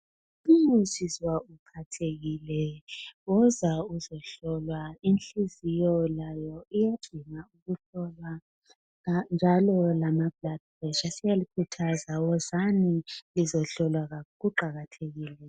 Umusizwa uphathekile woza uzohlolwa inhliziyo layo iyasinga ukuhlolwa njalo lokuhlolwa kwegazi siyalikhuthaza wozani nizohlolwa kuqakathekile kakhulu.